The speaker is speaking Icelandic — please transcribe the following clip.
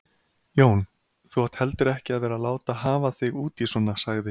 Jón, þú átt heldur ekki að vera að láta hafa þig út í svona sagði